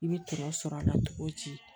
I bɛ tɔɔrɔ sɔr'a la togo ci